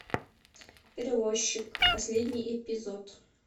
перевозчик последний эпизод